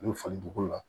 U bɛ falen dugu la